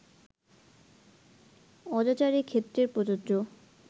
অজাচারের ক্ষেত্রে প্রযোজ্য